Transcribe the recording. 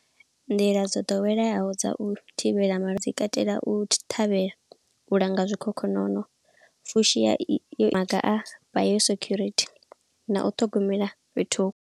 Nḓila dzo ḓoweleyaho dza u thivhela malwadze dzi katela u ṱhavhela, u langa zwikhokhonono, fushi ya maga a fha yo security na u ṱhogomela fhethu.